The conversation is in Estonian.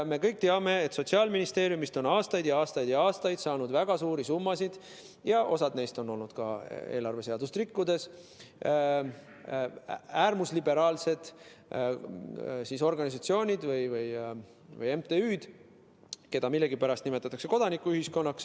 Me kõik teame, et Sotsiaalministeeriumist on aastaid ja aastaid ja aastaid saanud väga suuri summasid – osa neist ka eelarveseadust rikkudes – äärmusliberaalsed organisatsioonid või MTÜ‑d, mida millegipärast nimetatakse kodanikuühiskonnaks.